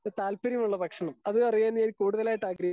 speaker 2 താല്പര്യമുള്ള ഭക്ഷണം അത് അറിയാനായികൂടുതലായി ആഗ്രഹിക്കുന്നു